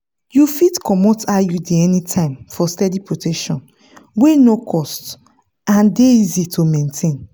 you fit comot iud anytime for steady protection wey no cost and dey easy to maintain.